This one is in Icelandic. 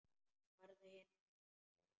Farðu hinum megin sagði ég.